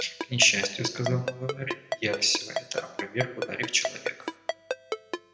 к несчастью сказал новый мэр я всё это опроверг ударив человека